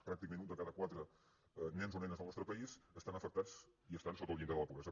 pràcticament un de cada quatre nens o nenes del nostre país estan afectats i estan sota el llindar de la pobresa